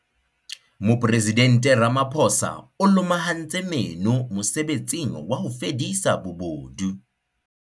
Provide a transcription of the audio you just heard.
Mopresidente Ramaphosa o lomahantse meno mosebetsing wa ho fedisa bobodu.